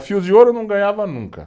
O fio de ouro não ganhava nunca.